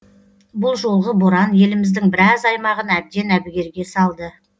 бұл жолғы боран еліміздің біраз аймағын әбден әбігерге салды